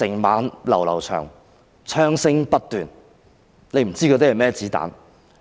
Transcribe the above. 漫漫長夜，槍聲不斷，不知哪些是甚麼子彈。